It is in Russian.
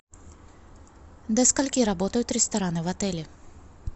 до скольки работают рестораны в отеле